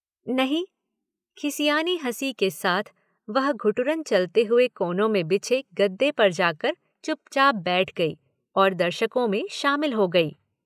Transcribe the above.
नहीं। खिसियानी हंसी के साथ वह घुटुरन चलते हुए कोने में बिछे गद्दे पर जाकर चुपचाप बैठ गई और दर्शकों मे शामिल हो गई।